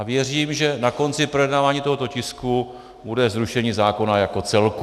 A věřím, že na konci projednávání tohoto tisku bude zrušení zákona jako celku.